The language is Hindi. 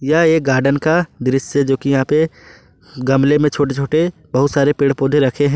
यह एक गार्डन का दृश्य जो कि यहां पे गमले में छोटे छोटे बहुत सारे पेड़ पौधे रखे हैं।